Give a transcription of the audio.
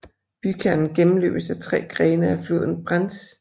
Bykernen gennmløbes af tre grene af floden Brenz